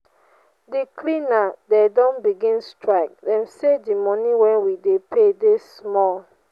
di cleaner dem don begin strike. dem sey di money wey we dey pay dey small.